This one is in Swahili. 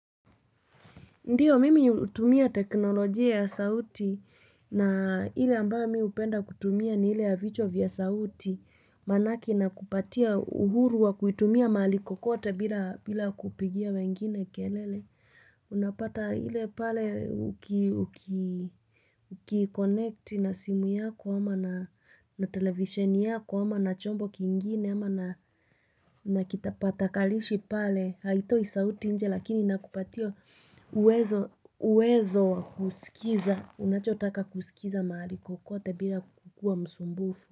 Ndio, mimi hutumia teknolojia ya sauti na ile ambayo mi hupenda kutumia ni ile ya vichwa vya sauti manake inakupatia uhuru wa kuitumia mahali kokote bila bila kupigia wengine kelele. Unapata ile pale uki uki ukiconnect na simu yako ama na televisheni yako ama na chombo kingine ama na kitapata kalishi pale. Haitoi sauti nje lakini inakupatia uwezo uwezo kusikiza unachotaka kusikiza mahali kokote bila kukua msumbufu.